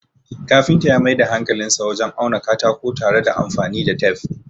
kafinta ya Mai da hankalinsa wajen auna katako tare da anfani da tef